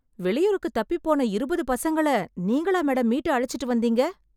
வெளியூருக்கு தப்பிப் போன இருபது பசங்கள நீங்களா மேடம் மீட்டு அழைச்சுட்டு வந்தீங்க...